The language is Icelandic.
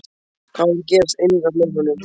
Hvað var að gerast innra með honum?